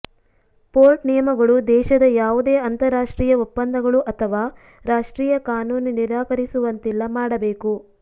port ನಿಯಮಗಳು ದೇಶದ ಯಾವುದೇ ಅಂತರರಾಷ್ಟ್ರೀಯ ಒಪ್ಪಂದಗಳು ಅಥವಾ ರಾಷ್ಟ್ರೀಯ ಕಾನೂನು ನಿರಾಕರಿಸುವಂತಿಲ್ಲ ಮಾಡಬೇಕು